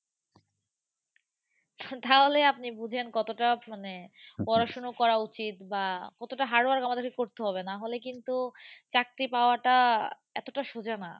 তাহলে আপনি বুঝেন কতটা মানে পড়াশুনো করা উচিত বা কতটা hard work আমাদেরকে করতে হবে, নাহলে কিন্তু চাকরি পাওয়াটা এতোটা সোজা না